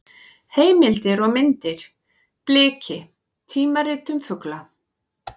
Heimildir og myndir: Bliki: tímarit um fugla.